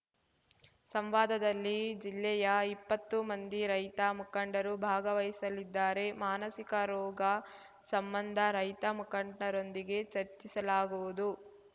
ಸಂವಾದದಲ್ಲಿ ಜಿಲ್ಲೆಯ ಇಪ್ಪತ್ತು ಮಂದಿ ರೈತ ಮುಖಂಡರು ಭಾಗವಹಿಸಲಿದ್ದಾರೆ ಮಾನಸಿಕ ರೋಗ ಸಂಬಂಧ ರೈತ ಮುಖಂಡರೊಂದಿಗೆ ಚರ್ಚಿಸಲಾಗುವುದು